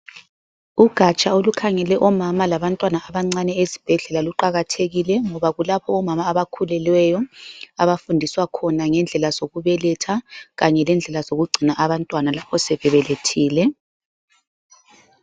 Ugatsha olukhangele omama labantwana abancane esibhedlela luqakathekile ngoba kulapho omama abakhulelweyo abafundiswa khona ngendlela zokubeletha kanye lendlela lezokugcina abantwana lapha sebebelethile.